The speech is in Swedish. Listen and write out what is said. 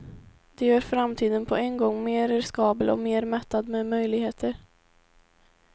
Det gör framtiden på en gång mer riskabel och mer mättad med möjligheter.